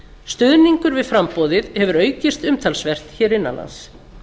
stuðningur við framboðið hefur aukist umtalsvert hér innanlands